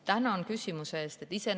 Tänan küsimuse eest!